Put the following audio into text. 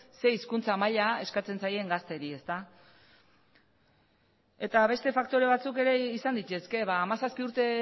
zer hizkuntza maila eskatzen zaien gazteei eta beste faktore batzuk ere izan daitezke hamazazpi urte